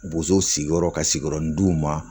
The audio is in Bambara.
Bozow sigiyɔrɔ ka sigiyɔrɔ min d'u ma